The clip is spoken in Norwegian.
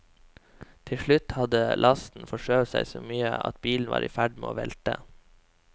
Til slutt hadde lasten forskjøvet seg så mye at bilen var i ferd med å velte.